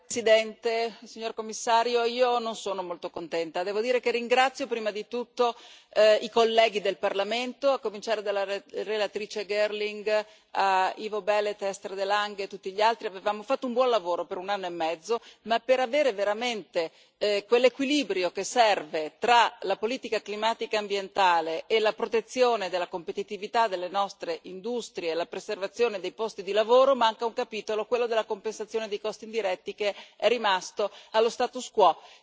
Signora Presidente, onorevoli colleghi, signor Commissario, io non sono molto contenta. Devo dire che ringrazio prima di tutto i colleghi del Parlamento, a cominciare dalla relatrice Girling a Ivo Belet, Esther de Lange e tutti gli altri. Avevamo fatto un buon lavoro per un anno e mezzo, ma per avere veramente quell'equilibrio che serve tra la politica climatica e ambientale e la protezione della competitività delle nostre industrie e la preservazione dei posti di lavoro manca un capitolo, quello della compensazione dei costi indiretti, che è rimasto allo status quo.